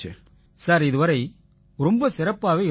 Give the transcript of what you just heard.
sir இதுவரை ரொம்ப சிறப்பாவே இருந்திச்சு